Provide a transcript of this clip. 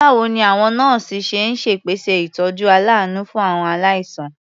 Báwo ni àwọn nọ́ọ̀sì ṣe ń ṣèpèsè ìtọ́jú aláàánú fún àwọn aláìsàn?